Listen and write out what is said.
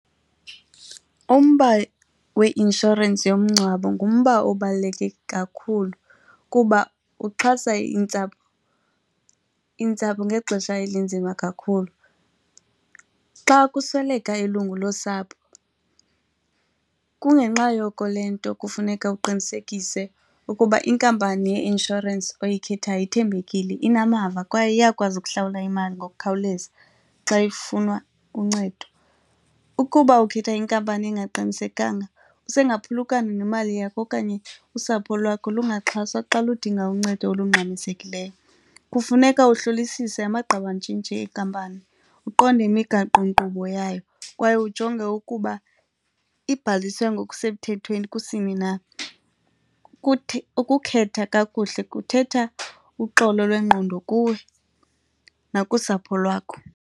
Umba weinshorensi yomngcwabo ngumba obaluleke kakhulu kuba uxhasa iintsapho, iintsapho ngexesha elinzima kakhulu. Xa kusweleka ilungu losapho kungenxa yoko le nto kufuneka uqinisekise ukuba inkampani yeinsurance uyikhethayo ithembekile, inamava kwaye iyakwazi ukuhlawula imali ngokukhawuleza xa ifunwa uncedo. Ukuba ukhetha inkampani engaqinisekanga usengaphulukana nemali yakho okanye usapho lwakho lungaxhaswa xa ludinga uncedo olungxamisekileyo. Kufuneka ukuhlolisise amagqabantshintshi enkampani, uqonde imigaqonkqubo yayo kwaye ujonge ukuba ibhalisiwe ngokusemthethweni kusini na. Kuthi ukukhetha kakuhle kuthetha uxolo lwengqondo kuwe nakusapho lwakho.